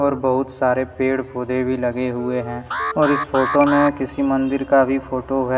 और बहुत सारे पेड़ पौधे भी लगे हुए हैं। और इस फोटो में किसी मंदिर का भी फोटो है।